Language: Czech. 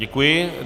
Děkuji.